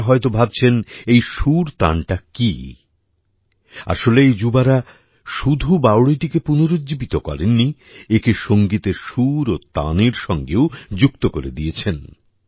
আপনারা হয়ত ভাবছেন এই সুরতান টা কী আসলে এই যুবারা শুধু বাওড়িটিকে পুনরুজ্জীবিত করেননি একে সঙ্গীতের সুর ও তানের সঙ্গেও যুক্ত করে দিয়েছেন